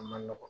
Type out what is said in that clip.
A ma nɔgɔn